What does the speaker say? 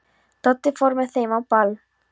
Doddi fór með þeim á ball.